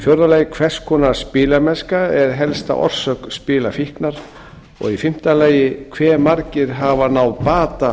fjórða hvers konar spilamennska er helsta orsök spilafíknar fimmta hve margir hafa náð bata